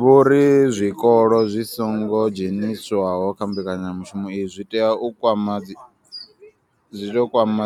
Vho ri zwikolo zwi songo dzheniswaho kha mbekanyamushumo iyi zwi tea u kwama zwi tea kwama